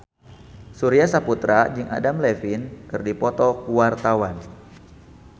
Surya Saputra jeung Adam Levine keur dipoto ku wartawan